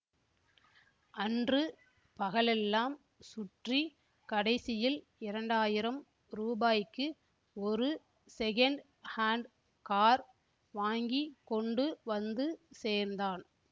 அன்று பகலெல்லாம் சுற்றி கடைசியில் இரண்டாயிரம் ரூபாய்க்கு ஒரு ஸெகண்ட் ஹாண்ட் கார் வாங்கி கொண்டு வந்து சேர்ந்தான்